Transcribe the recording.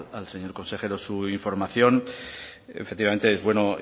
al señor consejero su información efectivamente es bueno